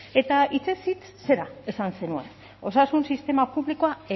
eta hitzez hitz zera esan zenuen osasun sistema publikoa